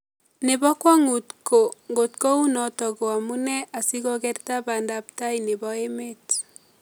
Nebo kwongut ko ngotko unoto ko amune asikokerta bandaptai nebo emet